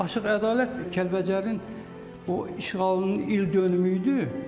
Aşıq Ədalət Kəlbəcərin o işğalının ildönümü idi.